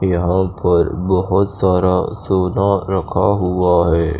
यहा पर बोहोत सारा सोना रखा हुआ है।